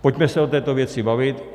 Pojďme se o této věci bavit.